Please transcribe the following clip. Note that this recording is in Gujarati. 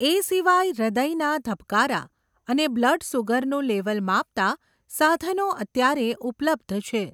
એ સિવાય હૃદયના ધબકારા અને બ્લડસુગરનું લેવલ માપતાં, સાધનો અત્યારે ઉપલબ્ધ છે